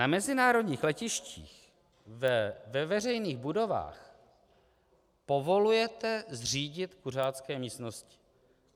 Na mezinárodních letištích, ve veřejných budovách povolujete zřídit kuřácké místnosti.